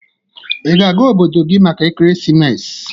Ị ga-aga obodo gị maka ekeresimesi?